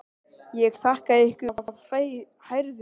Ég þakka ykkur af hrærðum hug.